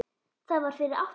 Það var fyrir átta árum